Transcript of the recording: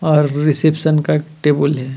और रिसेप्शन का टेबल है.